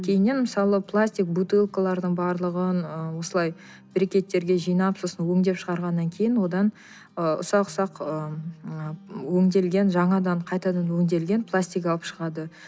кейіннен мысалы пластик бутылкалардың барлығын ы осылай брекеттерге жинап сосын өңдеп шығарғаннан кейін одан ы ұсақ ұсақ ы өңделген жаңадан қайтадан өңделген пластик алып шығады